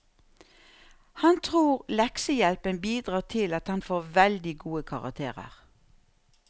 Han tror leksehjelpen bidrar til at han får veldig gode karakterer.